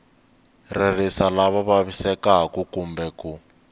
ririsa lava vavisekaku kumbe ku